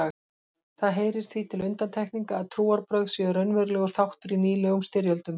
Það heyrir því til undantekninga að trúarbrögð séu raunverulegur þáttur í nýlegum styrjöldum.